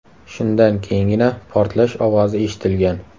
Shundan keyingina portlash ovozi eshitilgan.